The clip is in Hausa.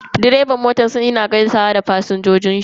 Direban motan yana gaisawa da fasinjojin shi.